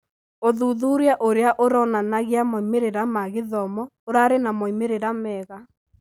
ũthuthuria ũrĩa ũronanagia moimĩrĩra ma gĩthomo ũrarĩ na moimĩrĩra mega